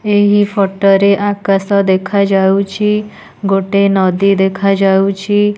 ଏହି ଫଟୋ ରେ ଆକାଶ ଦେଖାଯାଉଛି ଗୋଟେ ନଦୀ ଦେଖାଯାଉଛି।